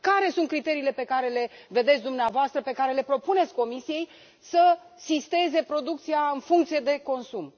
Care sunt criteriile pe care le vedeți dumneavoastră, pe care le propuneți Comisiei, să sisteze producția în funcție de consum?